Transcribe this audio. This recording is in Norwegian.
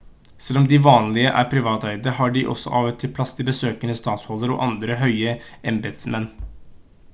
selv om de vanligvis er privateide har de av og til plass til besøkende statshoder og andre høye embetsmenn